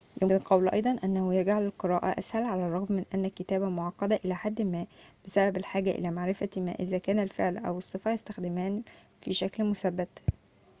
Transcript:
يمكن القول أيضاً أنه يجعل القراءة أسهل على الرغم من أن الكتابة معقدة إلى حد ما بسبب الحاجة إلى معرفة ما إذا كان الفعل أو الصفة يستخدمان في شكل مثبت